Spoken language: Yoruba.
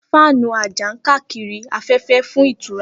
Fáànù àjà ń káàkiri afẹ́fẹ́ fún ìtura.